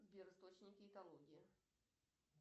сбер источники экологии